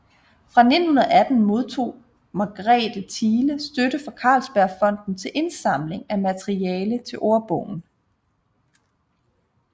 Fra 1918 modtog Margrethe Thiele støtte fra Carlsbergfondet til indsamling af materiale til ordbogen